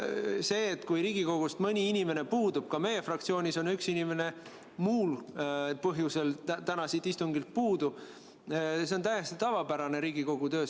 See, et Riigikogu istungilt mõni inimene puudub – ka meie fraktsioonis on üks inimene muul põhjusel täna siit istungilt puudu –, on Riigikogu töös täiesti tavapärane.